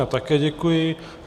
Já také děkuji.